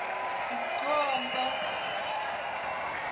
mkhombo